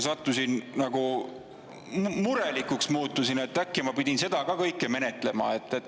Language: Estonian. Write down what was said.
Muutusin nagu murelikuks, et äkki ma pidin neid ka kõike menetlema.